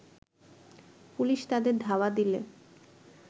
police তাদের ধাওয়া দিলে